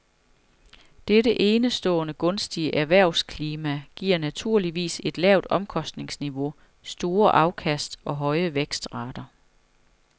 Dette enestående gunstige erhvervsklima giver naturligvis et lavt omkostningsniveau, store afkast og høje vækstrater.